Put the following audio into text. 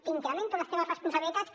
t’incremento les teves responsabilitats